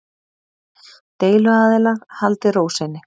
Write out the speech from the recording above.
Deiluaðilar haldi ró sinni